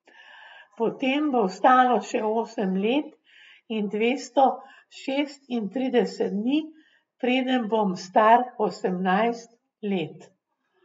Potem bo ostalo še osem let in dvesto šestintrideset dni, preden bom star osemnajst let.